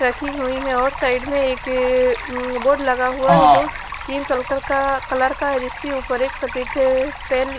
रखी हुयी है और साईड में एक हम्म बोर्ड लगा हुआ है जो स्किन कल कल का कलर का है जिसके ऊपर एक सफ़ेद पेन --